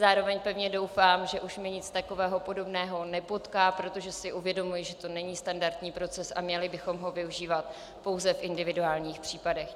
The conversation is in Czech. Zároveň pevně doufám, že už mě nic takového podobného nepotká, protože si uvědomuji, že to není standardní proces a měli bychom ho využívat pouze v individuálních případech.